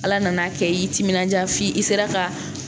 Ala nan'a kɛ i y'i timinandiya f'i sera ka